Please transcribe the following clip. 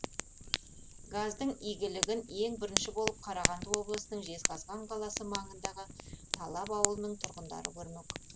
газдың игілігін ең бірінші болып қарағанды облысының жезқазған қаласы маңындағы талап ауылының тұрғындары көрмек